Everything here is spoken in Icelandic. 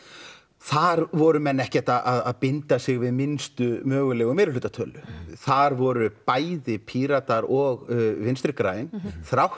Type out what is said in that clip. þar voru menn ekkert að binda sig við minnstu mögulega meirihluta tölu þar voru bæði Píratar og vinstri græn þrátt